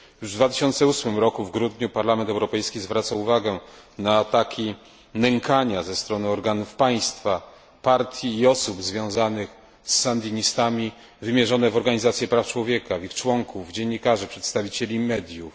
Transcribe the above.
Już w 2008 roku w grudniu Parlament Europejski zwracał uwagę na ataki nękania ze strony organów państwa, partii i osób związanych z sandynistami wymierzone w organizacje praw człowieka, w ich członków, w dziennikarzy, w przedstawicieli mediów.